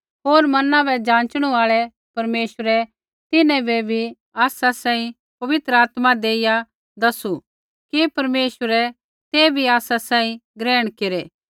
होर मना बै जाँचणू आल़ै परमेश्वरै तिन्हां बै बी आसा सांही पवित्र आत्मा देइया दसू कि परमेश्वरै तै बी आसा सांही ग्रहण केरै